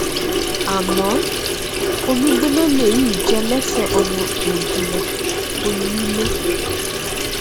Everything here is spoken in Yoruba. àmọ omigbóná lèyí jẹ lẹsẹ ọmọ oòduà onílé